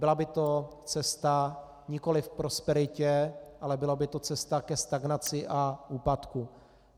Byla by to cesta nikoliv k prosperitě, ale byla by to cesta ke stagnaci a úpadku.